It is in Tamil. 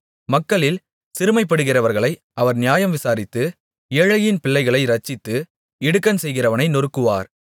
மக்களில் சிறுமைப்படுகிறவர்களை அவர் நியாயம் விசாரித்து ஏழையின் பிள்ளைகளை இரட்சித்து இடுக்கண் செய்கிறவனை நொறுக்குவார்